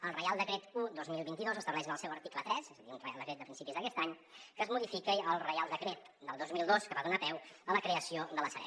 el reial decret un dos mil vint dos estableix en el seu article tres un reial decret de principis d’aquest any que es modifica el reial decret del dos mil dos que va donar peu a la creació de la sareb